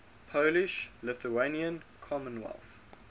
polish lithuanian commonwealth